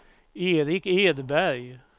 Erik Edberg